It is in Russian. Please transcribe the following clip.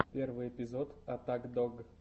первый эпизод аттак дог